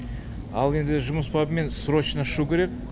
ал енді жұмыс бабымен срочно ұшу керек